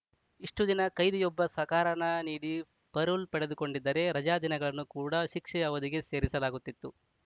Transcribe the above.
ಇಷ್ಟುದಿನ ಕೈದಿಯೊಬ್ಬ ಸಕಾರಣ ನೀಡಿ ಪರೋಲ್‌ ಪಡೆದುಕೊಂಡಿದ್ದರೆ ರಜಾ ದಿನಗಳನ್ನು ಕೂಡ ಶಿಕ್ಷೆಯ ಅವಧಿಗೆ ಸೇರಿಸಲಾಗುತ್ತಿತ್ತು